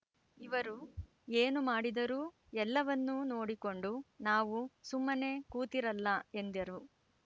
ಇವರು ಏನು ಮಾಡಿದರೂ ಎಲ್ಲವನ್ನೂ ನೋಡಿಕೊಂಡು ನಾವು ಸುಮ್ಮನೆ ಕೂತಿರಲ್ಲ ಎಂದರು